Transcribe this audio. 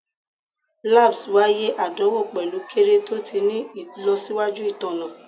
Labs waiye adanwo pẹlu kere to ti ni ilọsiwaju itanna